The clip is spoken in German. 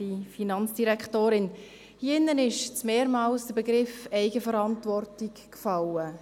Es ist hier im Rat mehrmals der Begriff der Eigenverantwortung gefallen.